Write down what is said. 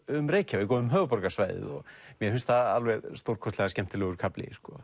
um Reykjavík og um höfuðborgarsvæðið og mér finnst það alveg stórkostlega skemmtilegur kafli